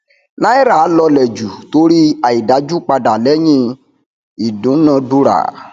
nàírà lọlẹ jù torí àìdájú padà lẹyìn ìdúnadúrà